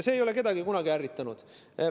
See ei ole kedagi kunagi ärritanud.